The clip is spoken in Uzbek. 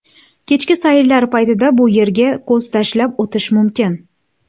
Kechki sayrlar paytida bu yerga ko‘z tashlab o‘tish mumkin.